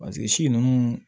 paseke si nunnu